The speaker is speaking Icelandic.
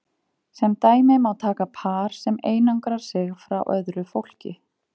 Sem dæmi má taka par sem einangrar sig frá öðru fólki.